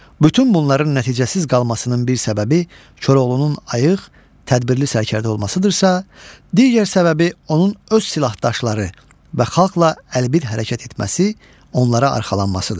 Bütün bunların nəticəsiz qalmasının bir səbəbi Koroğlunun ayıq, tədbirli sərkərdə olmasıdırsa, digər səbəbi onun öz silahdaşları və xalqa əlbir hərəkət etməsi, onlara arxalanmasıdır.